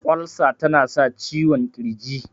Ulcer ta na sa ciwon kirji